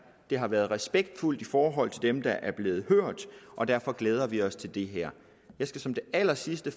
det har været respektfuldt i forhold til dem der er blevet hørt og derfor glæder vi os til det her jeg skal som det allersidste